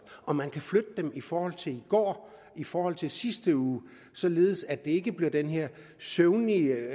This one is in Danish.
og man kan flytte dem i forhold til i går i forhold til sidste uge således at det ikke bliver den her søvnige